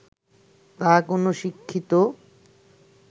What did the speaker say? তা কোন শিক্ষিত